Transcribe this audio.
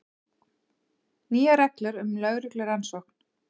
Nýjar reglur um lögreglurannsókn